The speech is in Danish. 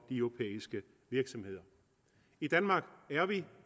europæiske virksomheder i danmark er